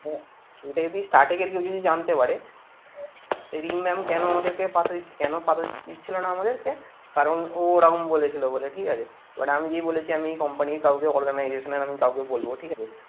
এটা যদি starting এর কেউ যদি জানতে পারে এই রিম mam কেন আমাদেরকে কেন পাতা দিচ্ছিল না আমাদেরকে কারণ ও ওরম বলেছিল বলে ঠিক আছে but আমি যেই বলেছি আমি company র কাউকে organization র আমি কাউকে বলবো ঠিক আছে